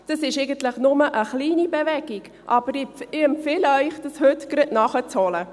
Das ist eigentlich nur eine kleine Bewegung, aber ich empfehle Ihnen, dies heute gleich nachzuholen.